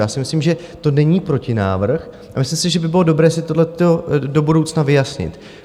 Já si myslím, že to není protinávrh, a myslím si, že by bylo dobré si tohleto do budoucna vyjasnit.